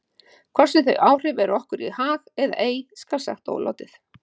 Hvort sem þau áhrif eru okkur í hag eða ei skal ósagt látið.